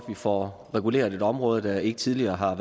vi får reguleret et område der ikke tidligere har